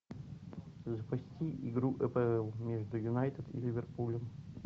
запусти игру апл между юнайтед и ливерпулем